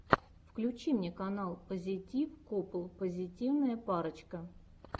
включи мне канал пазитив копл позитивная парочка